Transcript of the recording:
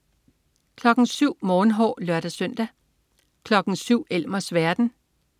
07.00 Morgenhår (lør-søn) 07.00 Elmers verden (lør-søn)